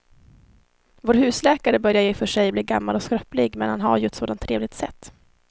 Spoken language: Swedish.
Vår husläkare börjar i och för sig bli gammal och skröplig, men han har ju ett sådant trevligt sätt!